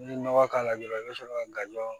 N'i ye nɔgɔ k'a la dɔrɔn i bɛ sɔrɔ ka gajɔ